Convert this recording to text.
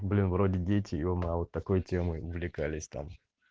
блин вроде дети е-мое а вот такой темой увлекались там